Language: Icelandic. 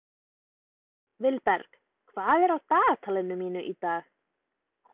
Vilberg, hvað er á dagatalinu mínu í dag?